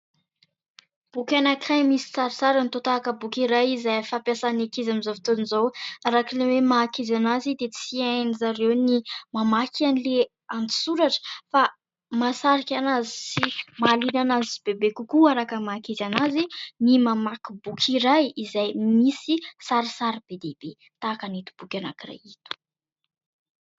Boky anankiray misy sarisariny, toa tahaka ny boky iray izay fampiasan'ny ankizy amin'izao fotoana izao. Araka ilay hoe maha ankizy azy dia tsy hain'izy ireo ny mamaky an'ilay an-tsoratra ; fa mahasarika azy sy mahaliana azy bebe kokoa, araka ny maha ankizy azy, ny mamaky boky iray izay misy sarisary be dia be tahaka ito boky anankiray ito.